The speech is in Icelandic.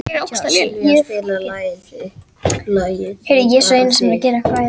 Sylvía, spilaðu lagið „Þig bara þig“.